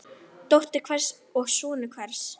Dóttir hvers og sonur hvers.